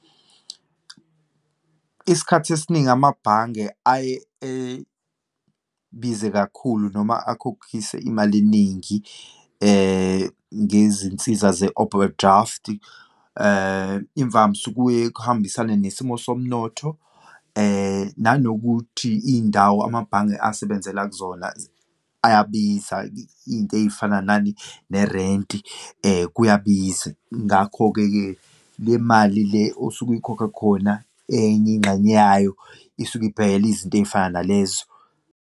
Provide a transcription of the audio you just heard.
Isikhathi esiningi amabhange aye ebiza kakhulu noma akhokhise imali eningi ngezinsiza ze-oberdraft. Imvamsa kuye kuhambisane nesimo somnotho, nanokuthi iyindawo amabhange asebenzela kuzona ayabiza, iyinto eyifana nani, nerenti, kuyabiza. Ngakho-ke ke, le mali le osuke uyikhokha khona, enye ingxenye yayo isuke ibhekela izinto eyifana nalezo.